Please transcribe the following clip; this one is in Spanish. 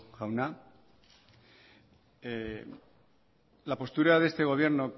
jauna la postura de este gobierno